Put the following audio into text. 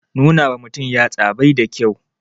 Nuna wa mutum yatsa bai da kyau